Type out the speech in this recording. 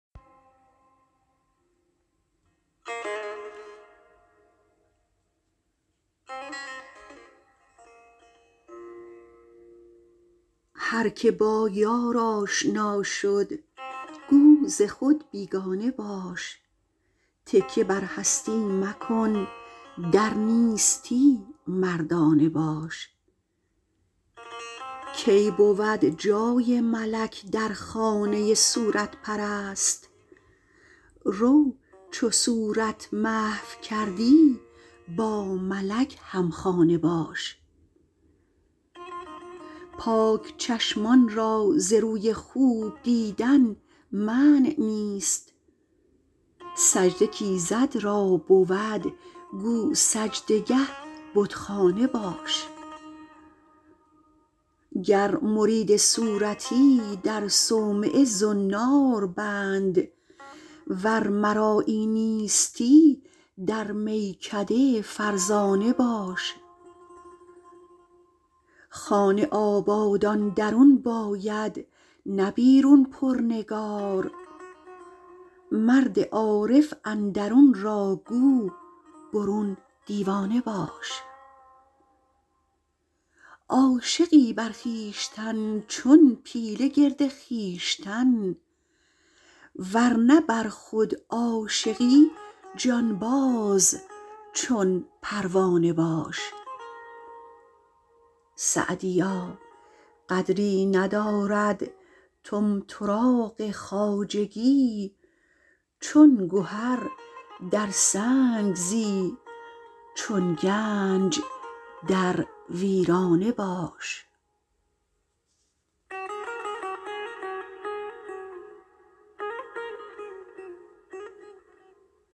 هر که با یار آشنا شد گو ز خود بیگانه باش تکیه بر هستی مکن در نیستی مردانه باش کی بود جای ملک در خانه صورت پرست رو چو صورت محو کردی با ملک همخانه باش پاک چشمان را ز روی خوب دیدن منع نیست سجده کایزد را بود گو سجده گه بتخانه باش گر مرید صورتی در صومعه زنار بند ور مرایی نیستی در میکده فرزانه باش خانه آبادان درون باید نه بیرون پر نگار مرد عارف اندرون را گو برون دیوانه باش عاشقی بر خویشتن چون پیله گرد خویش تن ور نه بر خود عاشقی جانباز چون پروانه باش سعدیا قدری ندارد طمطراق خواجگی چون گهر در سنگ زی چون گنج در ویرانه باش